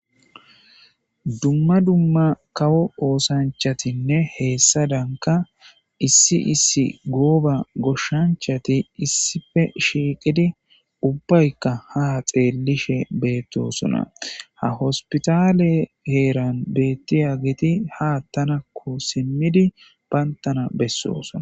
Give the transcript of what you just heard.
Dumma dumma kawo oosanchatinne heessadanka issi issi gooba goshshanchati issife shiiqidi ubbaykka ha xeellishe beettosona ha hospitale heeran beettiya geti haattanakko simmidi bayntana bessosona.